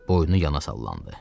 Boynu yana sallandı.